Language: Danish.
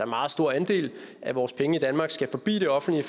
meget stor andel af vores penge i danmark skal forbi det offentlige